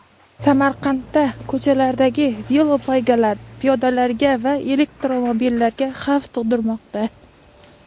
Samarqandda ko‘chalardagi velopoygalar piyodalarga va elektromobillarga xavf tug‘dirmoqda.